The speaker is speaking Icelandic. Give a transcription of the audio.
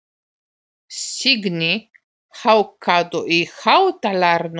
Signý, hækkaðu í hátalaranum.